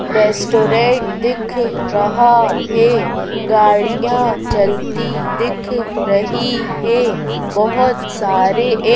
restaurant दिख रहा है गाड़ियां चलती दिख रही है बहोत सारे ये--